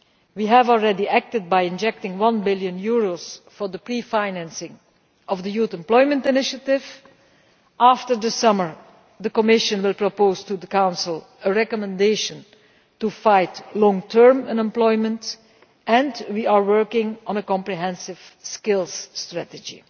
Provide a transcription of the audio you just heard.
We have already acted by injecting one billion euros for the pre financing of the youth employment initiative. After the summer, the Commission will propose to the Council a recommendation to fight long term unemployment, and we are working on a comprehensive skills strategy.